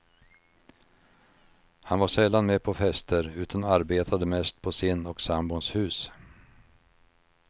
Han var sällan med på fester utan arbetade mest på sin och sambons hus.